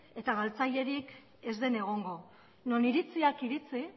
eta galtzailerik ez den egongo non iritziak iritzi